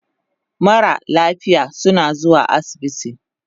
Mara lafiya suna zuwa asibiti